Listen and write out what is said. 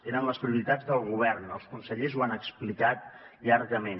eren les prioritats del govern els consellers ho han explicat llargament